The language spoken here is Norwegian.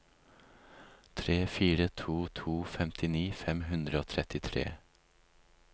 tre fire to to femtini fem hundre og trettitre